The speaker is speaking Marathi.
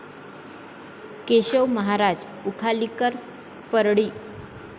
केशव महाराज उखालीकर परळी